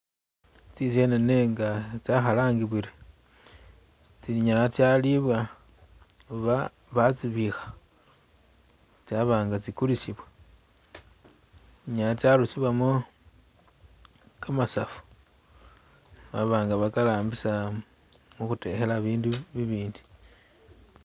Tsisenene nga tsakhalangibwile, tsinyala tsalibwa oba batsibikha, tsaba nga tsikulisibwa, tsinyala tsarusiwamo kamasavu baba nga bakarambisa mukhutekhela bindu bibindi.